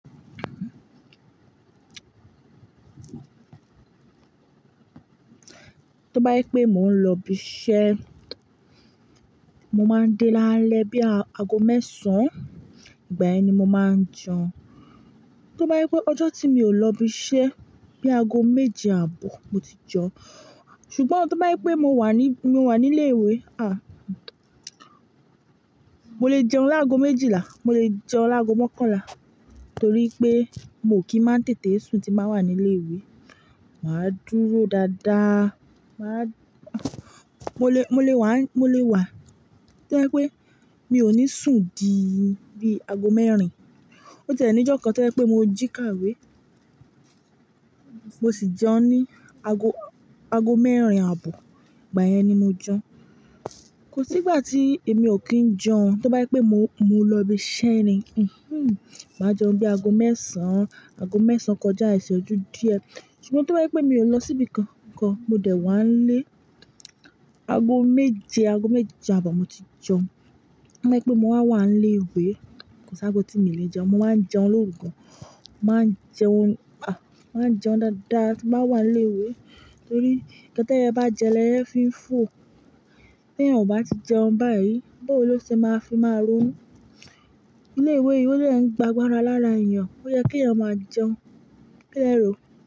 T'óbá jé pé mò ń lo ibi isé, mo máa ń dé l'áálé bíi ago mésàán, ìgbà yen ni mo máa ń jeun. Tó bá jé pé ọjọ́ tí mi ò lọ ibi iṣẹ́, bí aago méje àbọ̀ mo ti jẹun. Ṣùgbọ́n tó bá jé pé mo wà ní, mo wà ní ilé ìwé, mo lè jẹun lágo méjìlá, mo lè jẹun lágo mọ́kànlá, torí pé mi ò kí má tètè sùn tí m bá wà ní ilé ìwé. Màá dúró daada, màá. Mo le, mo le wàá, mo le wà. Tó bá jé pé mi ò ní sùn di i bí aago mẹ́rin, ó ti ẹ̀ ní ìjọ́ kan tó jé pé mo jí kàwé, mo sì jẹun ní aago, aago mẹ́rin àbọ̀. Ìgbà yẹn ni mo jẹun. Kò sí ìgbà tí èmi ò kí ń jẹun. Tó bá jé pé mo, mo lọ ibi iṣẹ́ ni, màá jẹun bí aago mẹ́sàn-án, aago mẹ́sàn-án kọjá ìséjú díẹ̀. Ṣùgbọ́n tó bá jé pé mi ò lọ síbi kankan, mo dẹ̀ wà ń lé aago méje, aago méje àbọ̀ mo ti jẹun. Tó bá jé pé mo bá wà ní ilé ìwé, kò sí ago tí mi ò le jeun mo máa ń jeun l'óru mo máa jeun ní búkà. Mo máa ń jeun daada tí mo bá wà ní ilé ìwé. Torí ńkan t'éye bá jẹ l'eye fí ń fò. Tí èèyàn ò bá ti jẹun báyìí, báwòo ló ṣe ma fi máa ronú ilé ìwé yìí, olúwa è ń gba agbára lára èèyàn. Ó yẹ kí èèyàn máa jẹun. Kí le rò.